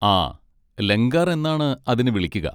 ആ, ലംഗാർ എന്നാണ് അതിനെ വിളിക്കുക.